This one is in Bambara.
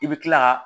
I bɛ kila ka